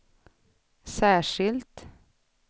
särskilt